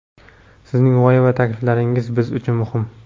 Sizning g‘oya va takliflaringiz biz uchun muhim!.